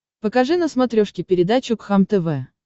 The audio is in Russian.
покажи на смотрешке передачу кхлм тв